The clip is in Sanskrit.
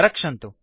रक्षन्तु